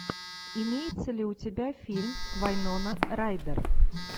имеется ли у тебя фильм вайнона райдер